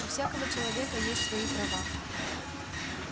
у всякого человека есть свои права